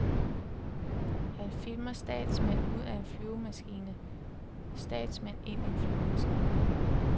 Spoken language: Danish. Han filmer statsmænd ud af en flyvemaskine, statsmænd ind i en flyvemaskine.